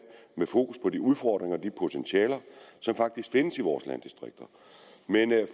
med fokus på de udfordringer de potentialer som faktisk findes i vores landdistrikter men